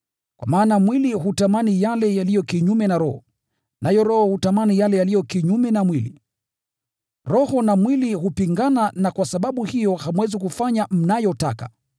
Kwa maana mwili hutamani yale yaliyo kinyume na Roho, naye Roho hutamani yale yaliyo kinyume na mwili. Roho na mwili hupingana na kwa sababu hiyo hamwezi kufanya mnayotaka.